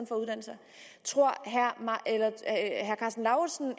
tror herre karsten lauritzen